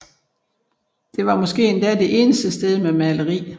Det var måske endda det eneste sted med maleri